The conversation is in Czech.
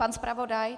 Pan zpravodaj?